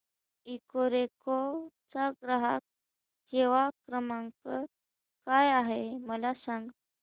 Ecoreco चा ग्राहक सेवा क्रमांक काय आहे मला सांग